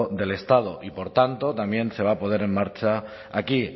del estado y por tanto también se va a poner en marcha aquí